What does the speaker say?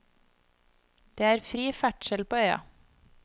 Det er fri ferdsel på øya.